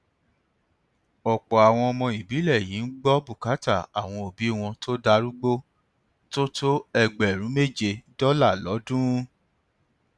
ọpọ àwọn ọmọ ìbílẹ yìí ń gbọ bùkátà àwọn òbí wọn tó darúgbó tó tó ẹgbẹrún méje dọlà lọdún